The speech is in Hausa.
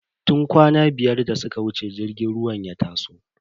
Tun kwana biyar da suka wuce jirgin ruwan ya taso.